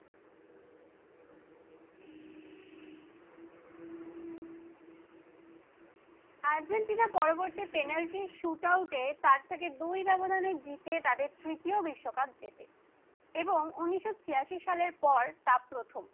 Argentina পরবর্তী penalty শুট আউটে তার থেকে দুই ব্যবধানে জিতে তাদের তৃতীয় বিশ্বকাপ জেতে এবং উনিশশো ছিয়াশি সালের পর তা প্রথম।